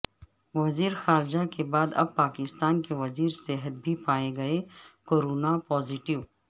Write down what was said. وزیر خارجہ کے بعد اب پاکستان کے وزیر صحت بھی پائے گئےکورونا پازیٹیو